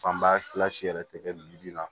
Fanba yɛrɛ tɛ kɛ la